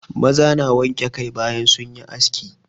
Maza na wanke kai bayan sun yi aski.